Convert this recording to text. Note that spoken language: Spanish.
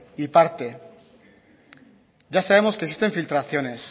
y parte ya sabemos que existen filtraciones